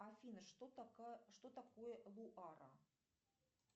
афина что такое луара